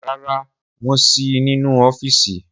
Rara, wón sí nínú ọfísì